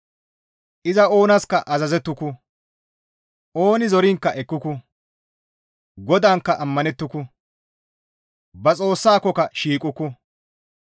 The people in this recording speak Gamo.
Iza oonaska azazettuku; ooni zoriinkka ekkuku; GODAANKKA ammanettuku; ba Xoossakokka shiiqukku.